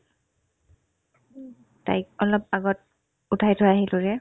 তাইক অলপ আগত উঠাই থৈ আহিলোৰে